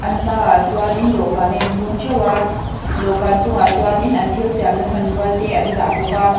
an hmaah chuanin dawhkan a in hung theuh a dawhkan chungah chuanin an thil siamna hmanrua te an dah bawka.